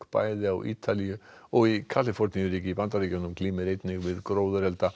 bæði á Ítalíu og í Kaliforníuríki í Bandaríkjunum glímir einnig við gróðurelda